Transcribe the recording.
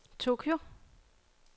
Tokyo